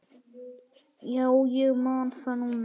Já, ég man það núna.